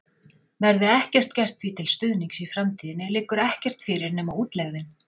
Verði ekkert gert því til stuðnings í framtíðinni, liggur ekkert fyrir nema útlegðin.